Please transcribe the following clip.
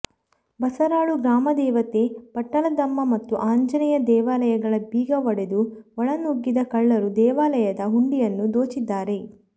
ಬಸರಾಳು ಗ್ರಾಮದೇವತೆ ಪಟ್ಟಲದಮ್ಮ ಮತ್ತು ಆಂಜನೇಯ ದೇವಾಲಯಗಳ ಬೀಗ ಒಡೆದು ಒಳ ನುಗ್ಗಿದ ಕಳ್ಳರು ದೇವಾಲಯದ ಹುಂಡಿಯನ್ನು ದೋಚಿದ್ದಾರೆ